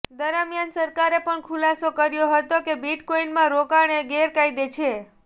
દરમિયાન સરકારે પણ ખુલાસો કર્યો હતો કે બિટકોઇનમાં રોકાણ એ ગેરકાયદે છે